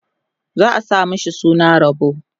za'a sa mashi suna Rabo